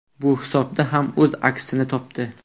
Bu hisobda ham o‘z aksini topdi.